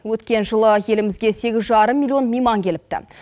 өткен жылы елімізге сегіз жарым миллион мейман келіпті